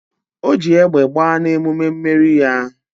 O jiri egbe gbaa na emume mmeri ya